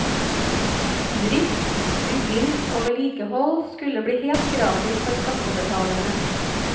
Drift, bygging og vedlikehold skulle bli helt gratis for skattebetalerne.